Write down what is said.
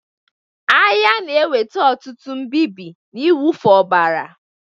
Agha na-eweta ọtụtụ mbịbị na ịwụfu ọbara